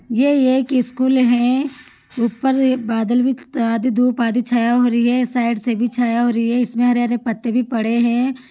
ये एक स्कुल है उपर मे एक बादल भी आधी धुप आधी छाया हो रही छे साईड से भी छाया हो रही है इसमे हरे हरे पत्ते भी पड़े है।